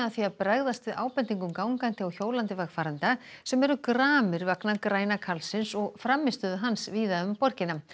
því að bregðast við ábendingum gangandi og hjólandi vegfarenda sem eru gramir vegna græna karlsins og frammistöðu hans víða um borgina